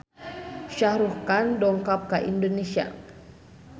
Shah Rukh Khan dongkap ka Indonesia